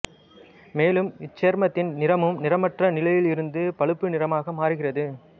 மேலும் இச்சேர்மத்தின் நிறமும் நிறமற்ற நிலையிலிருந்து பழுப்பு நிறமாக மாறுகிறது